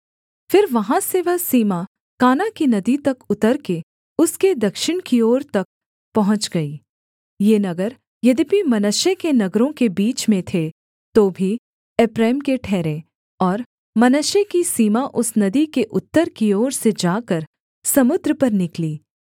फिर वहाँ से वह सीमा काना की नदी तक उतरकर उसके दक्षिण की ओर तक पहुँच गई ये नगर यद्यपि मनश्शे के नगरों के बीच में थे तो भी एप्रैम के ठहरे और मनश्शे की सीमा उस नदी के उत्तर की ओर से जाकर समुद्र पर निकली